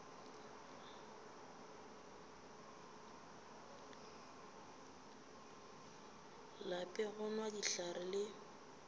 lape go nwa dihlare le